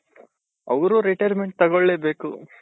ಅವರು retirement ತಗೊಳ್ಳೇಬೇಕು .